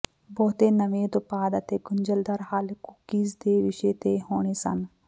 ਬਹੁਤੇ ਨਵੇਂ ਉਤਪਾਦ ਅਤੇ ਗੁੰਝਲਦਾਰ ਹੱਲ ਕੂਕੀਜ਼ ਦੇ ਵਿਸ਼ਾ ਤੇ ਹੋਣੇ ਸਨ